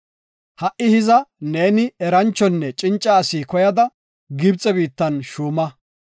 “Ha7i hiza, neeni eranchonne cinca asi koyada Gibxe biittan shuuma.